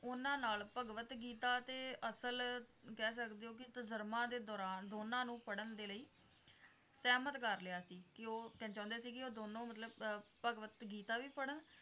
ਉਹਨਾਂ ਨਾਲ ਭਗਵਤ ਗੀਤਾ ਤੇ ਅਸਲ ਕਹਿ ਸਕਦੇ ਹੋਂ ਕਿ ਤਾਜਰਮਾ ਦੇ ਦੌਰਾਨ ਦੋਨਾਂ ਨੂੰ ਫੜਣ ਦੇ ਲਈ ਸਹਿਮੱਤ ਕਰ ਲਿਆ ਸੀ ਕਿ ਉਹ ਚਾਹੁੰਦੇ ਸੀ ਕਿ ਉਹ ਦੋਨੋਂ ਮਤਲੱਬ ਆਹ ਭਗਵਤ ਗੀਤਾ ਵੀ ਪੜਣ